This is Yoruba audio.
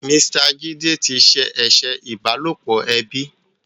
Mr Jide tí ṣe eṣe ìbálòpọ̀ ẹbí.